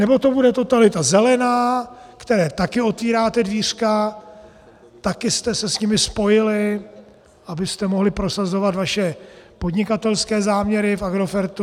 Nebo to bude totalita zelená, které také otvíráte dvířka, také jste se s nimi spojili, abyste mohli prosazovat vaše podnikatelské záměry v Agrofertu.